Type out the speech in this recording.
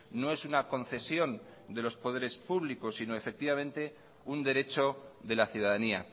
no es una concesión de los poderes públicos sino efectivamente un derecho de la ciudadanía